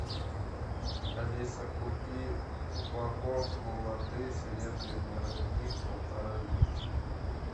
алиса купи упаковку воды серебряный родник полтора литра